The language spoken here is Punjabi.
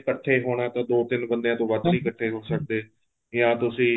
ਇੱਕਠੇ ਹੋਣਾ ਏ ਤਾਂ ਦੋ ਤਿੰਨ ਬੰਦਿਆਂ ਤੋਂ ਵੱਧ ਨਹੀਂ ਇੱਕਠੇ ਹੋ ਸਕਦੇ ਜਾਂ ਤੁਸੀਂ